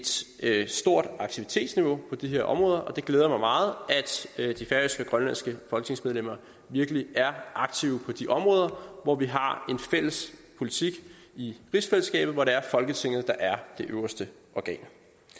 set et stort aktivitetsniveau på de her områder og det glæder mig meget at de færøske og grønlandske folketingsmedlemmer virkelig er aktive på de områder hvor vi har en fælles politik i rigsfællesskabet hvor folketinget er det øverste organ